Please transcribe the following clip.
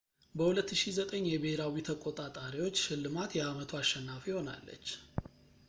በ2009 የብሄራዊ ተቆጣጣሪዎች ሽልማት የአመቱ አሸናፊ ሆናለች